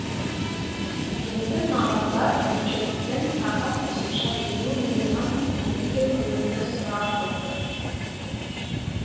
енді мамандар бюджеттен тағы қосымша елу миллион теңге бөлуді сұрап отыр